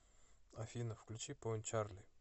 афина включи поинт чарли